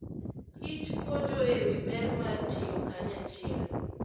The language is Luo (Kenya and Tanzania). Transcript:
kich puonjo e wi ber mar tiyo kanyachiel.